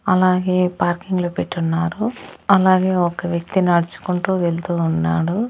అలాగే పార్కింగ్ లో పెట్టి ఉన్నారు అలాగే ఒక వ్యక్తి నడుచుకుంటూ వెళ్తూ ఉన్నాడు.